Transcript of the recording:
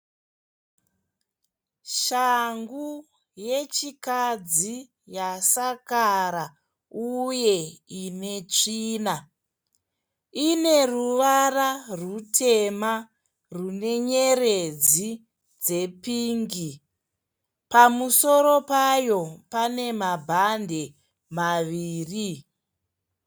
Shangu yechikadzi yasakara uye inetsvina. Ine ruvara rwutema rwenenyeredzi dzepingi. Pamusoro payo pane mabhadhi maviri.